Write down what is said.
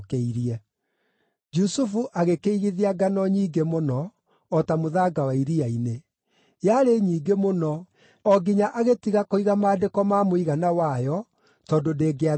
Jusufu agĩkĩigithia ngano nyingĩ mũno, o ta mũthanga wa iria-inĩ; yarĩ nyingĩ mũno, o nginya agĩtiga kũiga maandĩko ma mũigana wayo tondũ ndĩngĩathimĩkire.